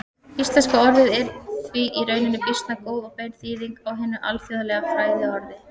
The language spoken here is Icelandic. Íslenska orðið er því í rauninni býsna góð og bein þýðing á hinu alþjóðlega fræðiorði.